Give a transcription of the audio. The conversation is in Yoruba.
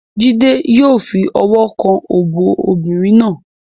Jide yó fi ọwọ́ kan òbò obìnrin náà.